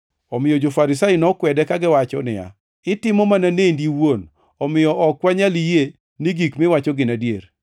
Omiyo jo-Farisai nokwede kagiwacho niya, “Itimo mana nendi iwuon, omiyo ok wanyal yie ni gik miwacho gin adier.”